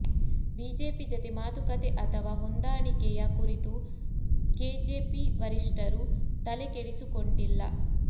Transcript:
BJP ಜತೆ ಮಾತುಕತೆ ಅಥವಾ ಹೊಂದಾಣಿಕೆಯ ಕುರಿತು ಕೆಜೆಪಿ ವರಿಷ್ಠರು ತಲೆ ಕೆಡಿಸಿಕೊಂಡಿಲ್ಲ